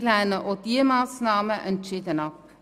Wir lehnen auch diese Massnahmen entschieden ab.